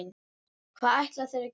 Hvað ætla þeir að gera?